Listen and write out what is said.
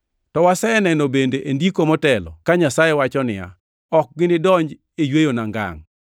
To waseneno bende e Ndiko motelo ka Nyasaye wacho niya, “Ok ginidonji e yweyona ngangʼ.” + 4:5 \+xt Zab 95:11\+xt*